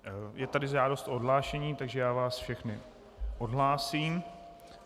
Je tu žádost o odhlášení, takže já vás všechny odhlásím.